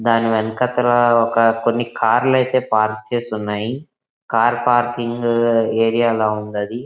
దాని వెనకాతల ఒక కొన్ని కార్లు అయితే పార్క్ చేసి ఉన్నాయి. కార్ పార్కింగ్ ఏరియా లాగా ఉంది అది.